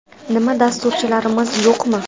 Nima, dasturchilarimiz yo‘qmi?